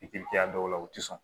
Pipiɲɛri dɔw la u tɛ sɔn